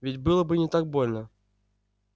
ведь было бы не так больно